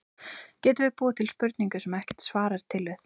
Getum við búið til spurningu, sem ekkert svar er til við?